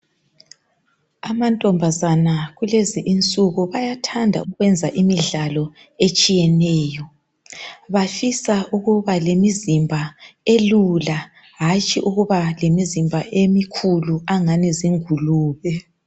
Amantombazana kulezi insuku bayathanda ukwenza imidlalo etshiyeneyo. Bafisa ukuba lemizimba elula hatshi ukuba lemizimba emikhulu angani zingulube.